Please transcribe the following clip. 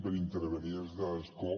per intervenir des de l’escó